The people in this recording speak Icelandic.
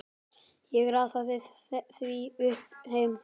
Ég raðaði því upp heima.